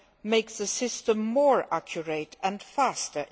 make the system more accurate and faster.